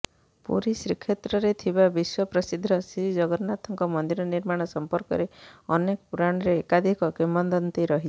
ପୁରୀ ଶ୍ରୀକ୍ଷେତ୍ରରେ ଥିବା ବିଶ୍ୱ ପ୍ରସିଦ୍ଧ ଶ୍ରୀଜଗନ୍ନାଥଙ୍କ ମନ୍ଦିର ନିର୍ମାଣ ସଂପର୍କରେ ଅନେକ ପୂରାଣରେ ଏକାଧିକ କିମ୍ବଦନ୍ତୀ ରହିଛି